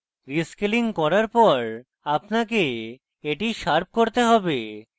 rescaling করার পর আপনাকে এটি শার্প করতে have